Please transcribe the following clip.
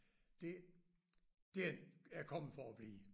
Det den er kommet for at blive